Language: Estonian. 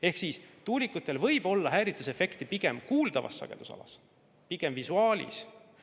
Ehk tuulikutel võib olla häiringuefekt pigem kuuldavas sagedusalas, pigem visuaalis.